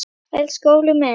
Elsku Óli minn.